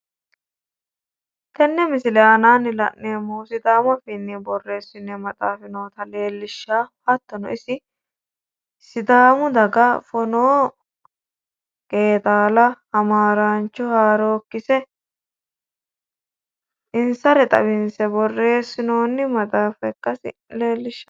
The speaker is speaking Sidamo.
Tenne misile aanaanni la’neemmohu sidaamu afiinni borreessinoyi maxaafi noota leellishawo. Hattono isi sidaamu daga fonoo qeexaala, hamaaraancho haarookkise insare xawinse borreessinoonni maxaafa ikkasi leellishshanno.